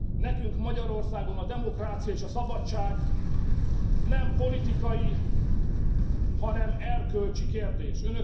Nekünk Magyarországon a demokrácia és a szabadság nem politikai, hanem erkölcsi kérdés.